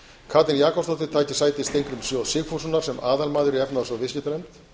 katrín jakobsdóttir taki sæti steingríms j sigfússonar sem aðalmaður í efnahags og viðskiptanefnd